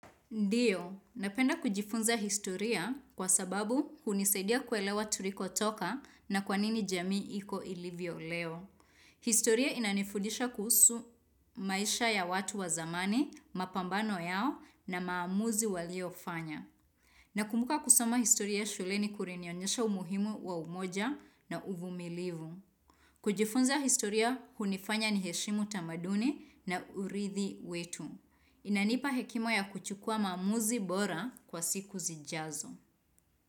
Ndiyo, napenda kujifunza historia kwa sababu hunisaidia kuelewa tuliko toka na kwa nini jamii iko ilivyo leo. Historia inanifudisha kuhusu maisha ya watu wa zamani, mapambano yao na maamuzi walio fanya. Nakumbuka kusama historia shuleni kulinionyesha umuhimu wa umoja na uvumilivu. Kujifunza historia hunifanya ni heshimu tamaduni na urithi wetu. Inanipa hekima ya kuchukua maamuzi bora kwa siku zijazo.